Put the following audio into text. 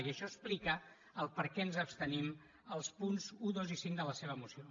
i això explica per què ens abstenim als punts un dos i cinc de la seva moció